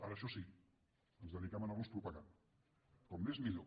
ara això sí ens dediquem a anar los propagant com més millor